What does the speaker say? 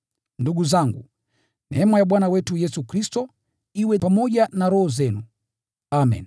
Ndugu zangu, neema ya Bwana wetu Yesu Kristo iwe pamoja na roho zenu. Amen.